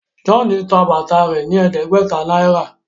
John tá bàtà rẹ ní ẹdẹgbẹta náírà.